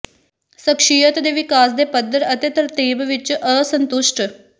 ਸ਼ਖਸੀਅਤ ਦੇ ਵਿਕਾਸ ਦੇ ਪੱਧਰ ਅਤੇ ਤਰਤੀਬ ਵਿੱਚ ਅਸੰਤੁਸ਼ਟ